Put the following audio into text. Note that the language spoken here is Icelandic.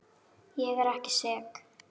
Ég er ekki sek.